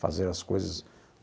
fazer as coisas.